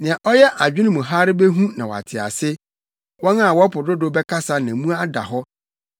Nea ɔyɛ adwene mu hare behu na wate ase, wɔn a wɔpo dodow bɛkasa na mu ada hɔ.